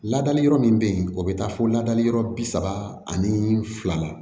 Ladali yɔrɔ min be yen o bɛ taa fɔ ladali yɔrɔ bi saba ani fila la